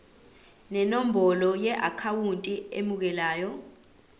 nenombolo yeakhawunti emukelayo